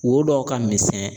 Wo dɔw ka misɛn